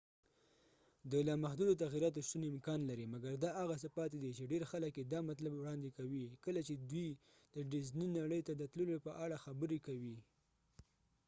د لامحدودو تغیراتو شتون امکان لري مګر دا هغه څه پاتې دي چې ډیر خلک یې دا مطلب وړاندې کوي کله چې دوی د ډیزني نړۍ ته د تللو په اړه خبرې کوي